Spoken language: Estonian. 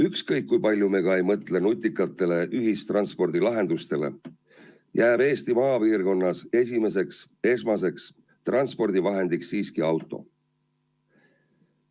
Ükskõik, kui palju me ka ei mõtle nutikatele ühistranspordilahendustele, Eesti maapiirkondades jääb põhiliseks transpordivahendiks siiski auto.